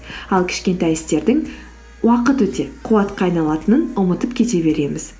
ал кішкентай істердің уақыт өте қуатқа айналатынын ұмытып кете береміз